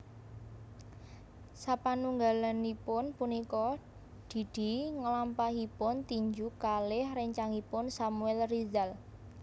Sapanunggalipun punika Didi nglampahipun tinju kalih rencangipun Samuel Rizal